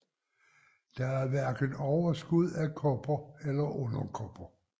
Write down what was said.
Der er hverken overskud af kopper eller underkopper